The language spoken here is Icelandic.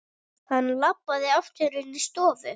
Hann labbaði aftur inní stofu.